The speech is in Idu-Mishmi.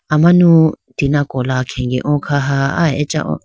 amanu tina kola khege oo khaha aya acha oo.